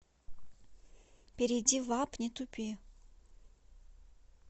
перейди в апп не тупи